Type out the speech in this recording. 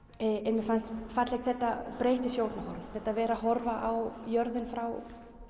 mér fannst fallegt þetta breytta sjónarhorn þetta að vera að horfa á jörðina frá